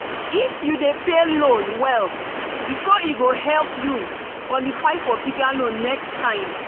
if you dey pay loan well before e go help you qualify for bigger loan next time.